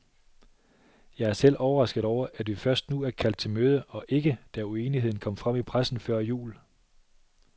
Jeg er selv overrasket over, at vi først nu er kaldt til møde og ikke, da uenigheden kom frem i pressen før jul.